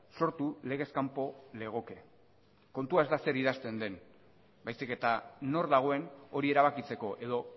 sortu legez kanpo legoke kontua ez da zer idazten den baizik eta nor dagoen hori erabakitzeko edo